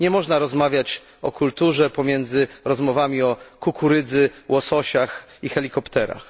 Nie można rozmawiać o kulturze pomiędzy rozmowami o kukurydzy, łososiach i helikopterach.